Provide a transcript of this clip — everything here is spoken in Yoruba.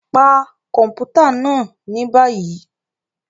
Pa kọmputa naa ni bayi!